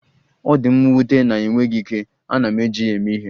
Ọ dị m nwute na ịnweghị ike, ana m eji ya eme ihe.